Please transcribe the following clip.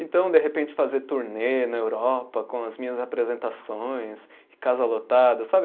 Então, de repente, fazer turnê na Europa com as minhas apresentações, casa lotada, sabe?